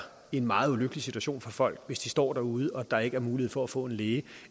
en meget ulykkelig situation for folk hvis de står derude og der ikke er mulighed for at få en læge